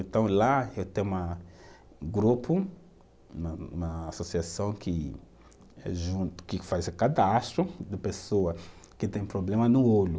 Então lá eu tenho uma, grupo, na na associação que, que faz cadastro de pessoa que têm problema no olho.